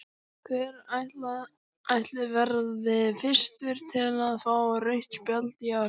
Hver ætli verði fyrstur til að fá rautt spjald í ár?